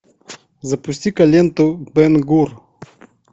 запусти ка ленту бен гур